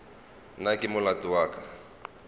na ke molato wa ka